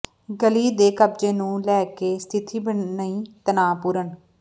ਗਲੀ ਦੇ ਕਬਜੇ ਨੂੰ ਲੈ ਕੇ ਸਥਿਤੀ ਬਣੀ ਤਣਾਅਪੂਰਨ